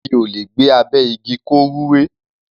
Igi ò lè gbé abẹ́ igi, kó rúwé.